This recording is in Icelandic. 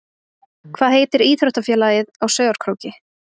Hvað heitir íþróttafélagið á Sauðárkróki?